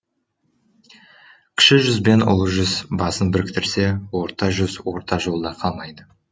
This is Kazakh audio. кіші жүз бен ұлы жүз басын біріктірсе орта жүз орта жолда қалмайды